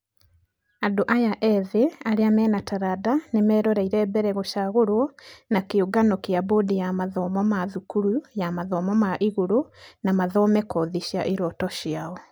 Andũ aya ĩthĩ arĩa mena taranda nĩmarerorera mbere gũcagũrwo na kĩũngano gĩa bodi ya mathomo ma thukuru ya mathomo ma igũrũ na mathome kothi cia iroto ciao.